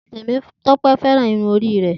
Temitope fẹran irun ori rẹ.